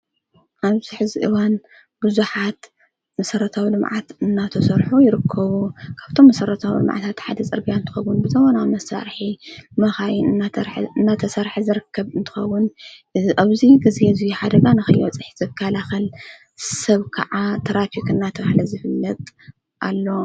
ኣብዚ ሀዚ እዋን ብዙሃት መሠረታዊ ልምዓት እናተሰርሑ ይርከቡ ካብቶም መሠረታዊ ልምዓታት ሓደ ጸርግያ እንትኸዉን ብዘመናዊ መሣርሒ መኻይን እናተሠርሐ ዝርከብ እንትኸዉን እዝ ኣብዙይ ጊዜ እዙይ ሓደጋንኺዮወጽሕ ዘካላኸል ሰብ ከዓ ተራፊኽ ናተብሃለ ዝፍለጥ ኣሎ